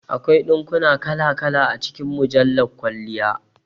Akwai dinkuna kala kala a cikin mujjala kwalliya